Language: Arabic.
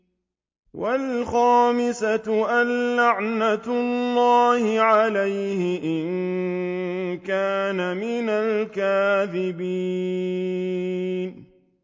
وَالْخَامِسَةُ أَنَّ لَعْنَتَ اللَّهِ عَلَيْهِ إِن كَانَ مِنَ الْكَاذِبِينَ